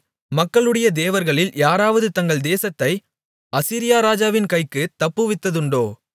மக்களுடைய தேவர்களில் யாராவது தங்கள் தேசத்தை அசீரியா ராஜாவின் கைக்குத் தப்புவித்ததுண்டோ